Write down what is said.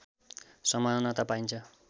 समानता पाइन्छ